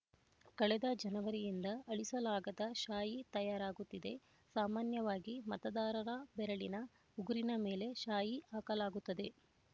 ಕಳೆದ ಜನವರಿಯಿಂದ ಅಳಿಸಲಾಗದ ಶಾಯಿ ತಯಾರಾಗುತ್ತಿದೆ ಸಾಮಾನ್ಯವಾಗಿ ಮತದಾರನ‌ ಬೆರಳಿನ ಉಗುರಿನ ಮೇಲೆ ಶಾಯಿ ಹಾಕಲಾಗುತ್ತದೆ